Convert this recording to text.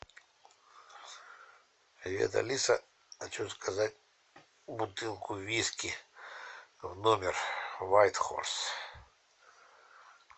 привет алиса хочу заказать бутылку виски в номер вайт хорс